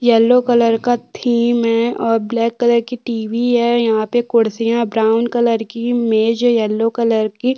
yellow colour का theme है और ब्लैक कलर की टीवी है यहाँ पर कुर्सियां ब्राउन कलर की मेज येलो कलर की --